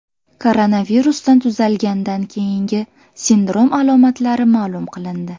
Koronavirusdan tuzalgandan keyingi sindrom alomatlari ma’lum qilindi.